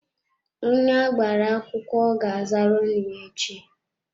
Onye agbara akwụkwọ ga azara ọnụ ya echi.